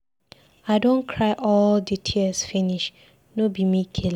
I don cry all the tears finish, no be me kill am.